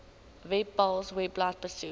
webpals webblad besoek